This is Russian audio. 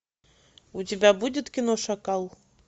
у тебя будет кино шакал